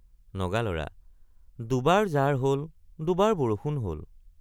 নগালৰা—দুবাৰ জাৰ হল দুবাৰ বৰষুণ হল।